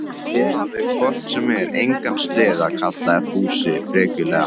Þið hafið hvort sem er engan sleða, kallaði Fúsi frekjulega.